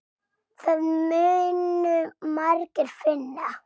Það munu margir finna.